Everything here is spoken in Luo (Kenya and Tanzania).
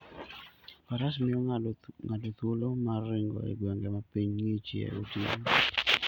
Faras miyo ng'ato thuolo mar ringo e gwenge ma piny ng'ichie gotieno.